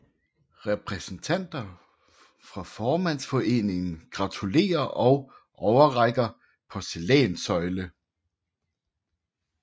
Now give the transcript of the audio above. Repræsentanter fra Formandsforeningen gratulerer og overrækker porcelænssøjle